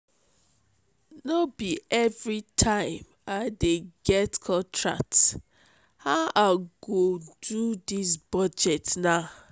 no be everytime i dey get contract how i go do dis budget now?